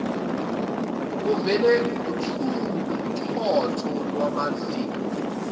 kuvele uthotho lwamazinyo